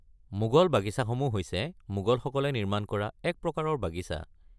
মোগল বাগিচাসমূহ হৈছে মোগলসকলে নিৰ্মাণ কৰা এক প্ৰকাৰৰ বাগিচা।